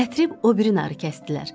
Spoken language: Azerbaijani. Gətirib o biri narı kəsdilər.